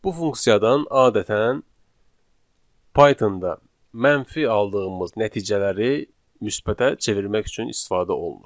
Bu funksiyadan adətən Python-da mənfi aldığımız nəticələri müsbətə çevirmək üçün istifadə olunur.